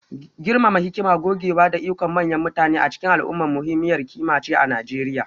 girmama hikima, gogewa, da ikon manyan mutane a cikin al'umma muhimmiyar ƙima ce a Najeriya